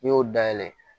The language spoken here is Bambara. N'i y'o dayɛlɛ